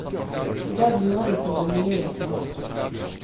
I dag lurer de på hvor mye jeg tjener.